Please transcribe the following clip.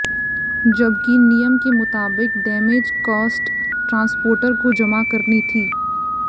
जबकि नियम के मुताबिक डैमेज कॉस्ट ट्रांसपोर्टर को जमा कराना थी